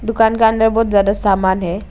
दुकान का अंदर बहुत ज्यादा सामान है।